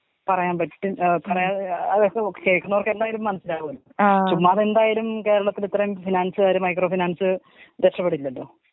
പറയാൻ പറ്റും പ ഏ കേക്കുന്നവര് ക്കെന്തായാലും മനസ്സിലാവുഅല്ലോ. ചുമ്മാതെന്തായാലും കേരളത്തിലിത്രയും ഫിനാൻസാര് മൈക്രോ ഫിനാൻസ് രക്ഷപ്പെടില്ലല്ലോ.